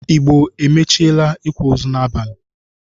Igbo amachiela ikwa ozu n’abalị